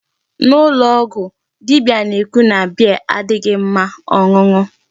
N'ụlọ ọgwụ, dibia na-ekwu na beer adịghị mma ọṅụṅụ.